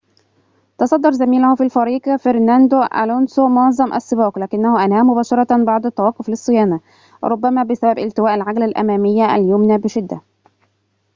تصدّر زميله في الفريق فرناندو ألونسو معظم السباق لكنه أنهاه مباشرةً بعد التوقف للصيانة ربما بسبب التواء العجلة الأمامية اليمنى بشدة